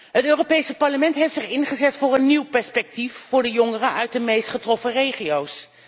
Het Europees Parlement heeft zich ingezet voor een nieuw perspectief voor de jongeren uit de meest getroffen regio's.